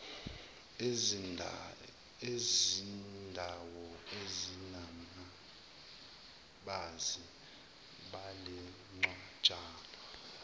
ezindawo ezinababazi ngalencwajana